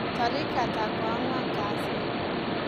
Tarik ata koanwan kasii